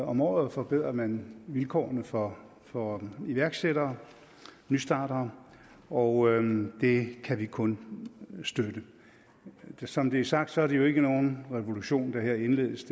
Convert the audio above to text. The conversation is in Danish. om året forbedrer man vilkårene for for iværksættere og nystartere og det kan vi kun støtte som det er sagt er det jo ikke nogen revolution der her indledes